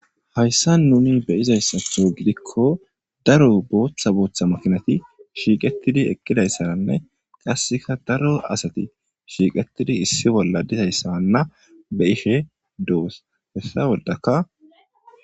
Hayssan nuni be izayssatho gidikko daro booththa booththa makinati shiiqettidi eqkidayssananne qasseka daro asati shiiqettidi issi bolla dizayssanna be ishe doos hessa boldaka